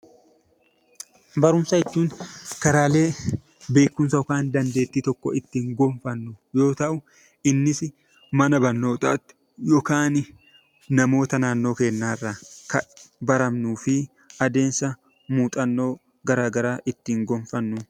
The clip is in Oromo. Barumsa jechuun karaalee beekumsa yookiin dandeettii tokko ittiin gonfannu yoo ta'u, innis mana barnootaatti yookaan namoota naannoo keenyaa irraa kan barannuu fi adeemsa muuxannoo garaagaraa ittiin gonfannudha.